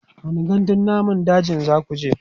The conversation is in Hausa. wani gandun namun dajin zakuje?